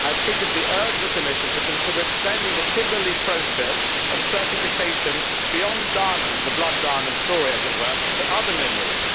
I have previously urged the Commission to consider extending the Kimberley Process of certification beyond diamonds the blood diamond story, as it were to other minerals.